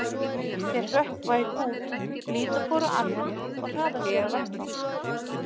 Þeir hrökkva í kút, líta hvor á annan og hraða sér á vettvang.